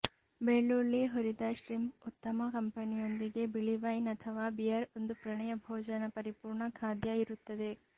ಬೆಳ್ಳುಳ್ಳಿ ಹುರಿದ ಶ್ರಿಂಪ್ ಉತ್ತಮ ಕಂಪನಿಯೊಂದಿಗೆ ಬಿಳಿ ವೈನ್ ಅಥವಾ ಬಿಯರ್ ಒಂದು ಪ್ರಣಯ ಭೋಜನ ಪರಿಪೂರ್ಣ ಖಾದ್ಯ ಇರುತ್ತದೆ